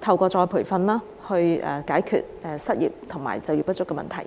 透過再培訓解決失業及就業不足的問題。